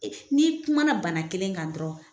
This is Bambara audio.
n'i kuma na bana kelen kan dɔrɔn